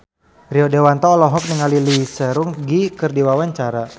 Rio Dewanto olohok ningali Lee Seung Gi keur diwawancara